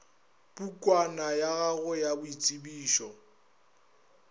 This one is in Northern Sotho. pukwana ya gago ya boitsebišo